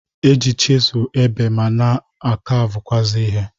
E ji chịsụlụ ebe ma na a kavụkwụazị ihe.